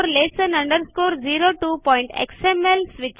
basic lesson 02xml